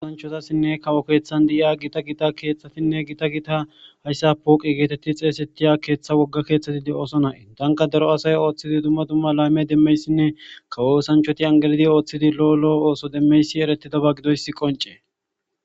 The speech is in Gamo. gosanchozassinne kawo keeththan di7iya gita gita keeththatinne gita gita hayssa pooqi geetetti xeesettiya keeththa wogga keeththati de7ooso nae tanka daro asay ooththidi dumma dumma layme demmeyssinne kawoosanchoti angelidi ooththidi lo7olo7o ooso demmeysi eretidaba gidoyssi qonce